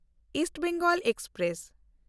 East Bengal express